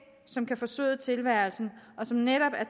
som kan forsøde tilværelsen og som netop er